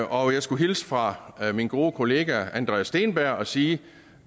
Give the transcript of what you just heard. og jeg skulle hilse fra min gode kollega andreas steenberg og sige